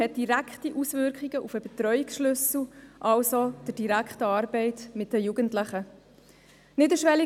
Er hat direkte Auswirkungen auf den Betreuungsschlüssel, also auf die direkte Arbeit mit den Jugendlichen.